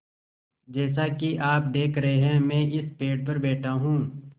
जैसा कि आप देख रहे हैं मैं इस पेड़ पर बैठा हूँ